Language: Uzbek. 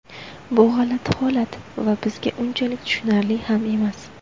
Bu g‘alati holat va bizga unchalik tushunarli ham emas.